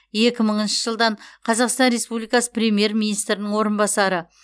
екі мыңыншы жылдан қазақстан республикасы премьер министрінің орынбасары